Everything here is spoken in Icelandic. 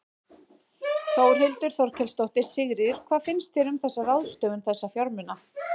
Þórhildur Þorkelsdóttir: Sigríður, hvað finnst þér um þessa ráðstöfun þessa fjármuna?